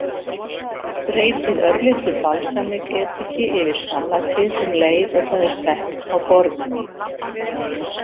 Dreypið örlitlu balsamediki yfir salatið um leið og það er sett á borðið.